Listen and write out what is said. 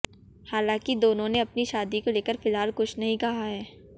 हालांकि दोनों ने अपनी शादी को लेकर फिलहाल कुछ नहीं कहा है